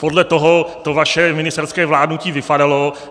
Podle toho to vaše ministerské vládnutí vypadalo.